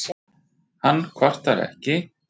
Hann kvartar ekki.